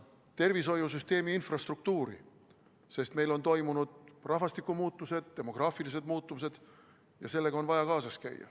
... tervishoiusüsteemi infrastruktuuri, sest meil on toimunud rahvastiku muutused, demograafilised muutused ja nendega on vaja kaasas käia.